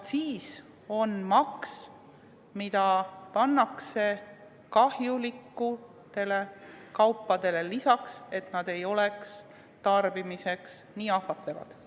Aktsiis on maks, mis pannakse kahjulikele kaupadele, et need ei oleks tarbimiseks nii ahvatlevad.